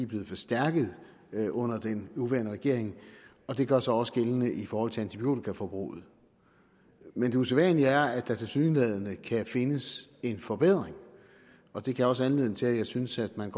blevet forstærket under den nuværende regering og det gør sig også gældende i forhold til antibiotikaforbruget men det usædvanlige er at der tilsyneladende kan findes en forbedring og det gav også anledning til at jeg synes at man